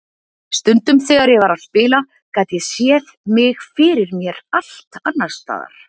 Stundum þegar ég var að spila gat ég séð mig fyrir mér allt annars staðar.